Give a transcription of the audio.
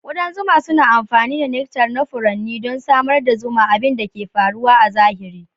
Kudan zuma suna amfani da nectar na furanni don samar da zuma, abin da ke faruwa a zahiri.